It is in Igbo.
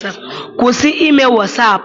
Kwụsị ime wasaapụ!